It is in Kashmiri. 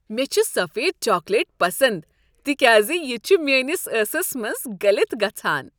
مےٚ چھ سفید چاکلیٹ پسند تکیاز یہ چھ میٲنس ٲسس منٛز گلِتھ گژھان ۔